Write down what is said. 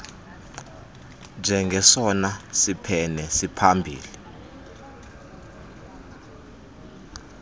njengesona siphene siphambili